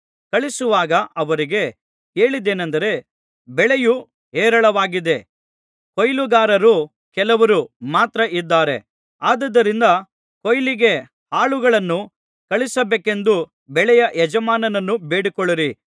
ಕಳುಹಿಸುವಾಗ ಅವರಿಗೆ ಹೇಳಿದ್ದೇನಂದರೆ ಬೆಳೆಯು ಹೇರಳವಾಗಿದೆ ಕೊಯ್ಲುಗಾರರು ಕೆಲವರೂ ಮಾತ್ರ ಇದ್ದಾರೆ ಆದುದರಿಂದ ಕೊಯ್ಲಿಗೆ ಆಳುಗಳನ್ನು ಕಳುಹಿಸಬೇಕೆಂದು ಬೆಳೆಯ ಯಜಮಾನನನ್ನು ಬೇಡಿಕೊಳ್ಳಿರಿ